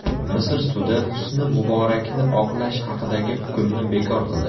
Misr sudi Husni Muborakni oqlash haqidagi hukmni bekor qildi.